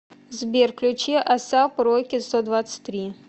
сбер включи асап роки стодвадцатьтри